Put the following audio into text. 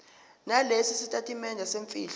nalesi sitatimende semfihlo